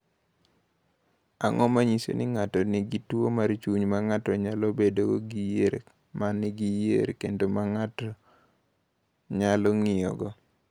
"Ang’o ma nyiso ni ng’ato nigi tuwo mar chuny ma ng’ato nyalo bedogo gi yier ma nigi yier kendo ma nigi yier ma ng’ato nyalo ng’iyogo?"